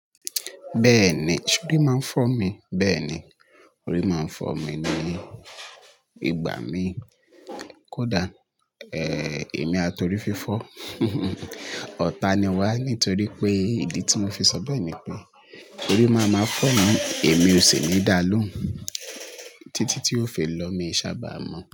Bẹ́ẹ̀ni, sorí máa ń fọ́ mi. Bẹ́ẹ̀ni, orí máa ń fọ́ mi ni ìgbà mí kódà, èmi àti orí fi fọ́. Ọ̀tá ni wá nítorí pé ìdí tí mo fi sọ bẹ́ẹ̀ ni pé orí máa má fọ̀ mí, èmi ò sì ní dà á lóun. Títí tí ó fi lọ, mi i sábà mọ̀